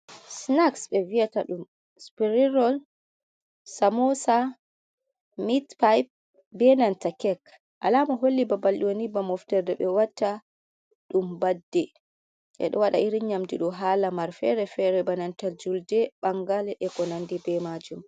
Sinaks ɓe viyata ɗum. Sipirin rool, samosa, mitpip be nanta kek. Alama holli babal ɗo ni ba moftorde ɓe watta ɗum baadde, ɓe ɗo waɗa irin nyamdu ɗo ha lamar fere fere, bananta julde, ɓalgal eko nandi be majum.